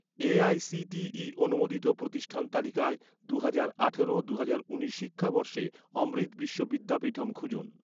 AICTE অনুমোদিত প্রতিষ্ঠান তালিকায়, দুহাজার আঠারো দুহাজার উনিশ শিক্ষাবর্ষে অমৃত বিশ্ব বিদ্যাপীঠম খুঁজুন